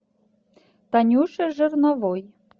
танюше жирновой